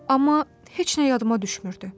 Amma heç nə yadıma düşmürdü.